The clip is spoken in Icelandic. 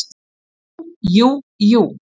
Jú, jú, jú.